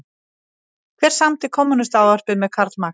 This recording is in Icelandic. Hver samdi Kommúnistaávarpið með Karl Marx?